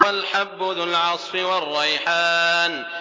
وَالْحَبُّ ذُو الْعَصْفِ وَالرَّيْحَانُ